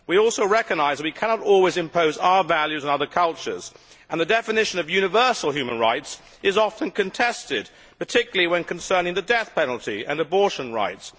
We also recognise that we cannot always impose our values on other cultures, and the definition of universal human rights is often contested, particularly when concerning the death penalty and abortion rights.